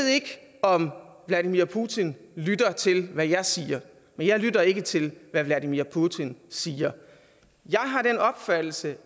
om vladimir putin lytter til hvad jeg siger men jeg lytter ikke til hvad vladimir putin siger jeg har den opfattelse